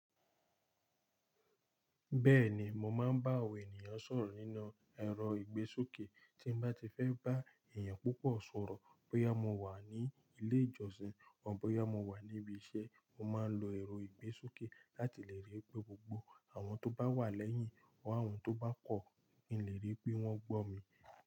Bẹ́ẹ̀ni, mo máa ń bá àwọn ènìyàn sọ̀rọ̀ nínú ẹ̀rọ ìgbésókè. Tí bá ti fẹ́ bá èèyàn púpọ̀ sọ̀rọ̀, bóyá mo wà ní ilé ìjọsìn ọ bóyá mo wà níbi iṣẹ́, mo máa ń lo ẹ̀rọ ìgbésókè láti lè rí pé gbogbo àwọn tó bá wà lẹ́yìn ọ, àwọn tó bá kọ̀, mi lè rí pé wọ́n gbọ́ mi.